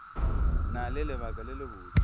na le lebaka le lebotse